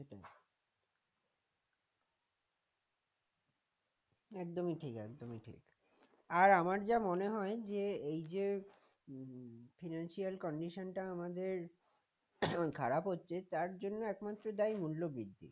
একদমই ঠিক একদমই ঠিক আর আমার যা মনে হয় যে এই যে এ financial condition টা আমাদের এমন খারাপ হচ্ছে তার জন্য একমাত্র দায়ী মূল্যবৃদ্ধি